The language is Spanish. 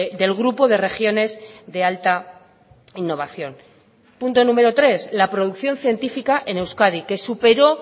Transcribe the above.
del grupo de regiones de alta innovación punto número tres la producción científica en euskadi que superó